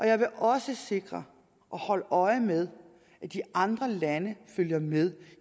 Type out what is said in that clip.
jeg vil også sikre og holde øje med at de andre lande følger med